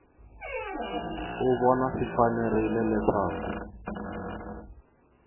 u vona swi fanerile leswaku